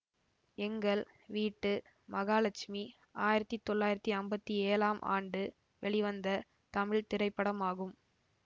எங்கள் வீட்டு மகாலட்சுமி ஆயிரத்தி தொள்ளாயிரத்தி அம்பத்தி ஏழாம் ஆண்டு வெளிவந்த தமிழ் திரைப்படமாகும்